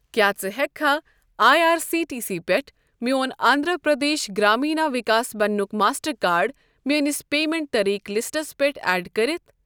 کیٛاہ زٕ ہٮ۪کہٕ کھا I R C T C پٮ۪ٹھ میون Andhra Pradesh Grameena Vikas bank Mastercard میٲنِس پیمنٹ طریٖقہٕ لِسٹَس پٮ۪ٹھ اٮ۪ڈ کٔرِتھ؟